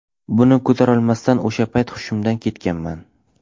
Buni ko‘tarolmasdan o‘sha payt hushimdan ketganman.